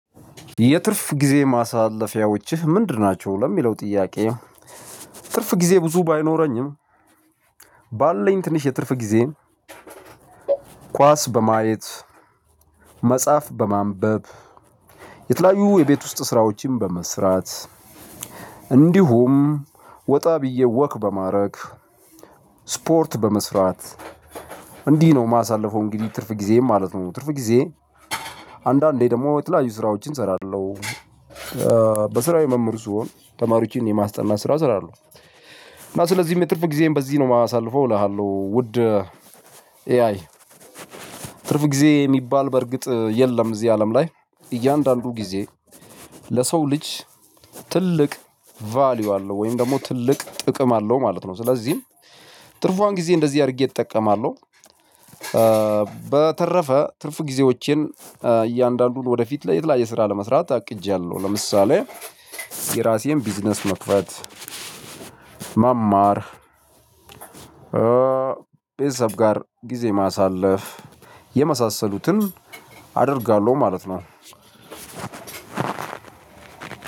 የትርፍ ጊዜ ማሳለፊያዎችህ ምንድን ናቸው? ለሚለው ጥያቄ ትርፍ ጊዜ ብዙ ባይኖረኝም ባለኝ ትንሽ የትርፍ ጊዜ። ኳስ በማየት መጽሐፍ በማንበብ የተለያዩ የቤት ውስጥ ስራዎችን በመስራት እንዲሁም ወጣ ብዬ ወክ በማድረግ ስፖርት በመስራት እንዲህ ነው የማሳልፈው እንግዲህ ትርፍ ጊዜዬን ማለት ነው። ትርፍ ጊዜዬን አንዳንዴ ደግሞ የተለያዩ ስራዎችን እሰራለሁ። በስራዬ መምህር ሲሆን ተማሪዎችን የማስጠናት ስራ እሰራለሁ። እና ስለዚህ የትርፍ ጊዜዬን በዚህ ነው የማሳልፈው እልሃለሁ። ውድ ኤአይ ትርፍ ጊዜ የሚባል በእርግጥ የለም እዚህ አለም ላይ እያንዳንዱ ጊዜ ለሰው ልጅ ትልቅ ቫልዩ አለው ወይም ደግሞ ትልቅ ጥቅም አለው ማለት ነው። ስለዚህ ትርፏን ጊዜ እንደዚህ አድርጌ እጠቀማለሁ። በተረፈ ትርፍ ጊዜዎቼን እያንዳንዱን ወደፊት የተለያየ ስራን ለመስራት አቅጃለሁ ለምሳሌ የእራሴን ቢዝነስ መክፈት መማር ቤተሰብ ጋር ጊዜ ማሳለፍ የመሳሰሉትን አደርጋለሁ ማለት ነው።